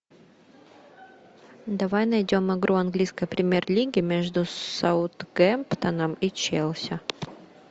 давай найдем игру английской премьер лиги между саутгемптоном и челси